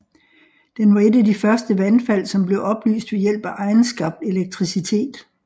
Den var et af de første vandfald som blev oplyst ved hjælp af egenskabt elektricitet